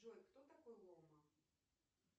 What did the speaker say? джой кто такой лома